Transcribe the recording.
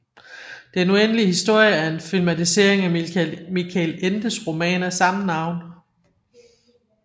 Den uendelige historien er en filmatisering af Michael Endes roman af samme navn